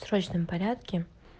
срочном порядке